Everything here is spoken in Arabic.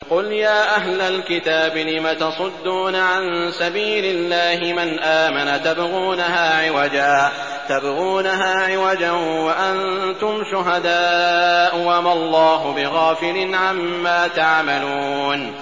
قُلْ يَا أَهْلَ الْكِتَابِ لِمَ تَصُدُّونَ عَن سَبِيلِ اللَّهِ مَنْ آمَنَ تَبْغُونَهَا عِوَجًا وَأَنتُمْ شُهَدَاءُ ۗ وَمَا اللَّهُ بِغَافِلٍ عَمَّا تَعْمَلُونَ